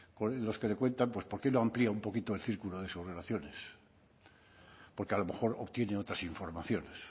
los que le cuentan pues por qué no amplía un poquito el círculo de sus relaciones porque a lo mejor obtiene otras informaciones